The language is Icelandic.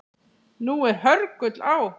Nú er hörgull á